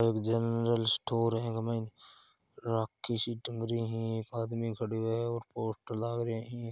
एक general store ह इमे राखी सी टंग रही है। एक आदमी खड़यो है और पोस्टर लागरियो है।